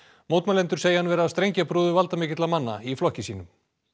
mótmælendur segja hann vera strengjabrúðu valdamikilla manna í flokki sínum